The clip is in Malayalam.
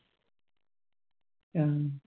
ആ